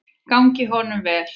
Gangi honum vel.